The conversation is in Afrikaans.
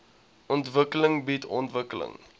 ontwikkeling bied ontwikkeling